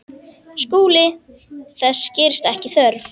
SKÚLI: Þess gerist ekki þörf.